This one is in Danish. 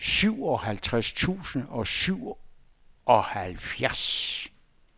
syvoghalvtreds tusind og syvoghalvfjerds